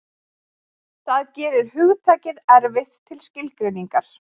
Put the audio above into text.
Það gerir hugtakið erfitt til skilgreiningar.